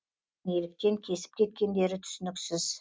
еш ескертусіз келіп құбырды неліктен кесіп кеткендері түсініксіз